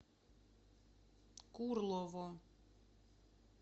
курлово